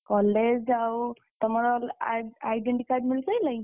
college ଆଉ, ତମର ଆଉ identity card ମିଳି ସାଇଲାଇଁ?